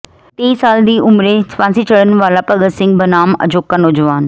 ਤੇਈ ਸਾਲ ਦੀ ਉਮਰੇ ਫ਼ਾਂਸੀ ਚੜ੍ਹਨ ਵਾਲਾ ਭਗਤ ਸਿੰਘ ਬਨਾਮ ਅਜੋਕਾ ਨੌਜਵਾਨ